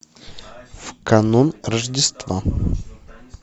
в канун рождества